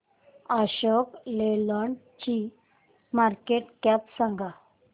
Ashok Leyland ची market cap सांगा